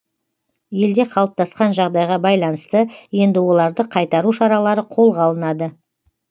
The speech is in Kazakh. елде қалыптасқан жағдайға байланысты енді оларды қайтару шаралары қолға алынады